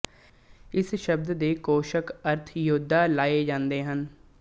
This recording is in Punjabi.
ਇਸ ਸ਼ਬਦ ਦੇ ਕੋਸ਼ਕ ਅਰਥ ਯੋਧਾ ਲਏ ਜਾਂਦੇ ਹਨ